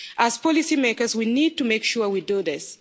As policy makers, we need to make sure we do this.